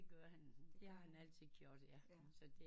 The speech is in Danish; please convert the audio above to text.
Det gør han det har han altid gjort ja så det